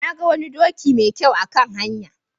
Na ga wani doki mai kyau a kan hanya.